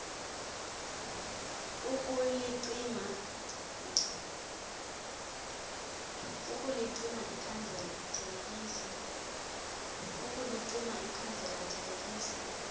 ukulicima ikhandlela thelekisa